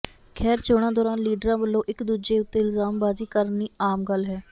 ਖ਼ੈਰ ਚੋਣਾਂ ਦੌਰਾਨ ਲੀਡਰਾਂ ਵੱਲੋਂ ਇੱਕ ਦੂਜੇ ਉੱਤੇ ਇਲਜ਼ਾਮ ਬਾਜ਼ੀ ਕਰਨੀ ਆਮ ਗੱਲ ਹੈ